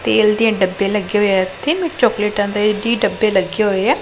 ਤੇਲ ਦਿਆ ਡੱਬੇ ਲੱਗੇ ਹੋਇਆ ਇੱਥੇ ਤੇ ਚੋਕਲੇਟਾਂ ਦੇ ਡੀ ਡੱਬੇ ਲੱਗੇ ਹੋਇਆ।